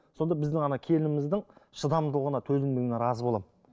сонда біздің ана келініміздің шыдамдылығына төзімділігіне разы боламын